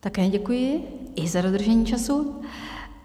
Také děkuji, i za dodržení času.